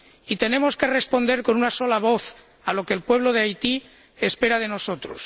Y tenemos que responder con una sola voz a lo que el pueblo de Haití espera de nosotros.